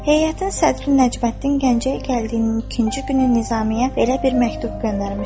Heyətin sədri Nəcməddin Gəncəyə gəldiyinin ikinci günü Nizamiye belə bir məktub göndərmişdi.